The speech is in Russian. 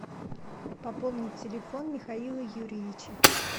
пополнить телефон михаила юрьевича